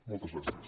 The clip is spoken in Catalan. moltes gràcies